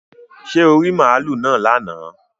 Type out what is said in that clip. Ṣé oò rí màlúù náà lánàá